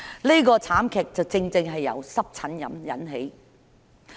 這宗慘劇正是由濕疹引起的。